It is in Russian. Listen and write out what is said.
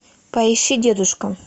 поищи дедушка